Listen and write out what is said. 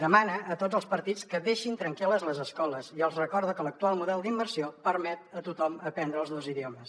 demana a tots els partits que deixin tranquil·les les escoles i els recorda que l’actual model d’immersió permet a tothom aprendre els dos idiomes